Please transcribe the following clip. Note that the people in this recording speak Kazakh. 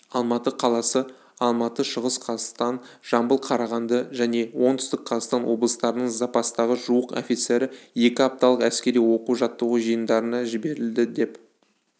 алматы қаласы алматы шығыс қазақстан жамбыл қарағанды және оңтүстік қазақстан облыстарының запастағы жуық офицері екі апталық әскери оқу-жаттығу жиындарына жіберілді деп